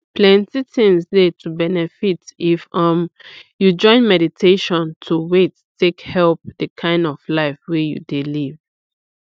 afta i bin learn about di way dem wey be like family planning i come see say i no too sabi plenty before.